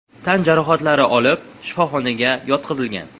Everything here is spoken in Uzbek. tan jarohatlari olib, shifoxonaga yotqizilgan.